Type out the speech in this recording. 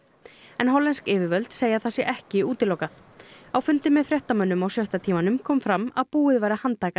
en hollensk yfirvöld segja að það sé ekki útilokað á fundi með fréttamönnum á sjötta tímanum kom fram að búið væri að handtaka